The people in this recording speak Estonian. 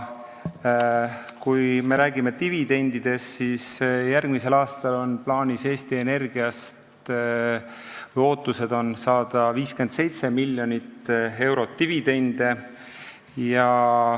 Kui me räägime dividendist, siis järgmisel aastal on plaanis või lootus Eesti Energiast saada 57 miljonit eurot dividendi.